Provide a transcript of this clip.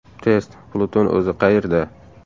Test: Pluton o‘zi qayerda?.